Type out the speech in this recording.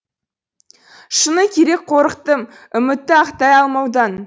шыны керек қорықтым үмітті ақтай алмаудан